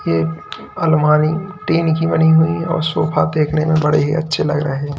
ये अलमारी टीन की बनी हुई और साफा देखने में बड़े अच्छे लग रहे हैं।